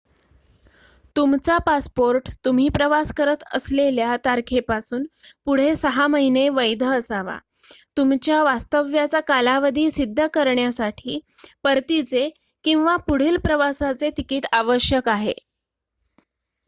तुमचा पासपोर्ट तुम्ही प्रवास करत असलेल्या तारखेपासून पुढे ६ महिने वैध असावा. तुमच्या वास्तव्याचा कालावधी सिद्ध करण्यासाठी परतीचे/पुढील प्रवासाचे तिकीट आवश्यक आहे